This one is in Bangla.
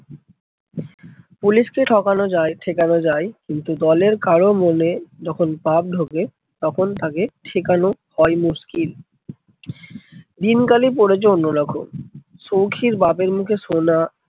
পুলিশকে ঠকানো যায় ঠেকানো যায়, কিন্তু দলের কারো মনে যখন পাপ ঢোকে তখন তাকে ঠেকানো হয় মুশকিল। দিনকালই পড়েছে অন্য রকম। সৌখীর বাপের মুখে শোনা